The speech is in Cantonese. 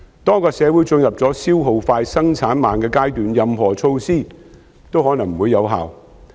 當一個社會進入消耗快、生產慢的階段，任何措施也可能不會有效。